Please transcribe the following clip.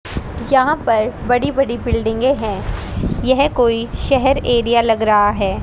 यहां पर बड़ी बड़ी बिल्डिंगे है यह कोई शहर एरिया लग रहा है।